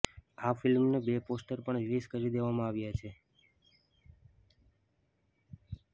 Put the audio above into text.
આ ફિલ્મના બે પોસ્ટર પણ રિલીઝ કરી દેવામાં આવ્યા છે